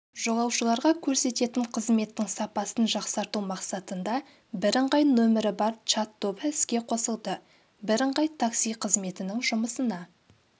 жолаушыларға көрсететін қызметтің сапасын жақсарту мақсатында бірыңғай нөмірі бар чат-тобы іске қосылды бірыңғай такси қызметінің жұмысына